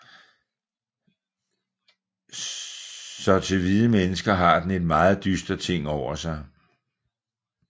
Så til hvide mennesker har den et meget dyster ting over sig